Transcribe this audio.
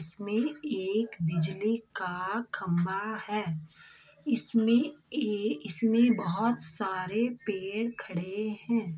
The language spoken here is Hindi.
इसमें एक बिजली का खम्भा है इसमें एक बहोत सारे पेड़ खड़े है।